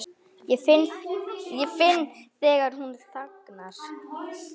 Ég finn þegar hún þagnar.